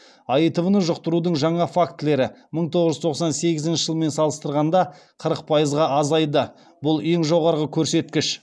аитв ны жұқтырудың жаңа фактілері мың тоғыз жүз тоқсан сегізінші жылмен салыстырғанда қырық пайызға азайды бұл ең жоғарғы көрсеткіш